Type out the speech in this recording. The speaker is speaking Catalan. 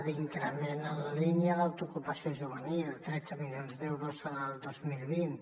l’increment en la línia d’autoocupació juvenil tretze milions d’euros en el dos mil vint